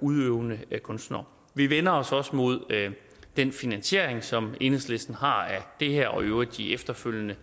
udøvende kunstnere vi vender os også mod den finansiering som enhedslisten har af det her og i øvrigt af de efterfølgende